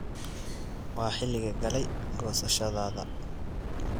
waa xilligii galey gosashadadha